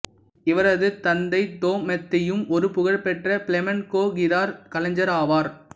இவரது தந்தை தொமாத்தேயும் ஒரு புகழ்பெற்ற பிளமேன்கோ கிதார் கலைஞர் ஆவார்